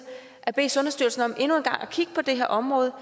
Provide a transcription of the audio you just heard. at bede sundhedsstyrelsen om endnu en gang at kigge på det her område